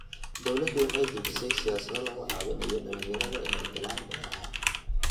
Dawladdu waxay dejisay siyaasado lagu caawinayo dhalinyarada inay galaan beeraha.